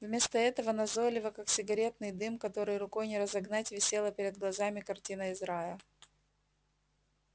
вместо этого назойливо как сигаретный дым который рукой не разогнать висела перед глазами картина из рая